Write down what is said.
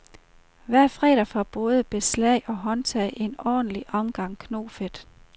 Hver fredag får både beslag og håndtag en ordentlig omgang knofedt.